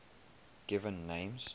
given names